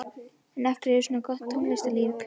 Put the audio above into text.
En af hverju er svona gott tónlistarlíf í Hveragerði?